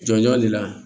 Jɔnjɔn le la